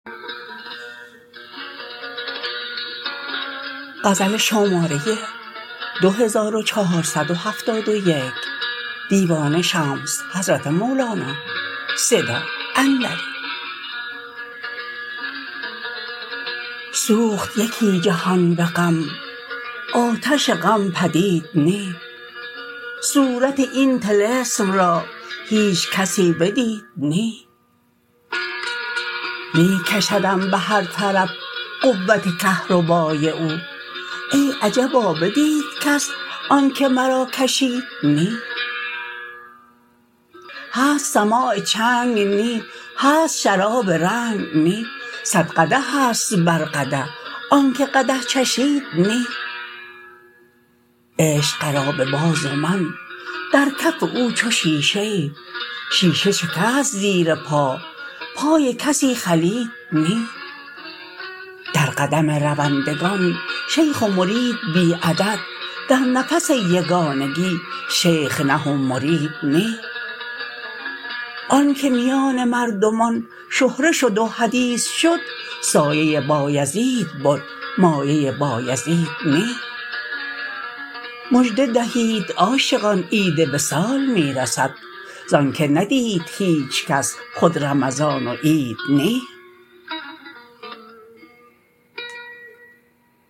سوخت یکی جهان به غم آتش غم پدید نی صورت این طلسم را هیچ کسی بدید نی می کشدم به هر طرف قوت کهربای او ای عجبا بدید کس آنک مرا کشید نی هست سماع چنگ نی هست شراب رنگ نی صد قدح است بر قدح آنک قدح چشید نی عشق قرابه باز و من در کف او چو شیشه ای شیشه شکست زیر پا پای کسی خلید نی در قدم روندگان شیخ و مرید بی عدد در نفس یگانگی شیخ نه و مرید نی آنک میان مردمان شهره شد و حدیث شد سایه بایزید بد مایه بایزید نی مژده دهید عاشقان عید وصال می رسد ز آنک ندید هیچ کس خود رمضان و عید نی